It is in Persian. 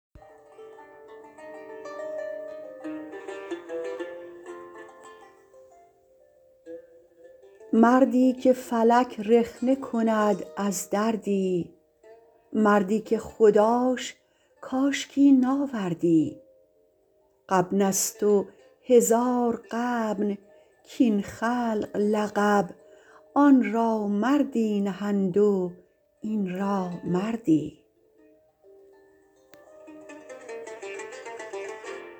مردی که فلک رخنه کند از دردی مردی که خداش کاشکی ناوردی غبن است و هزار غبن کاین خلق لقب آن را مردی نهند و این را مردی